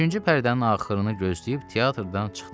Üçüncü pərdənin axırını gözləyib teatrdan çıxdıq.